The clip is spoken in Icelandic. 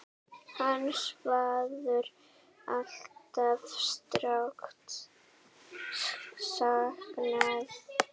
Hans verður alltaf sárt saknað.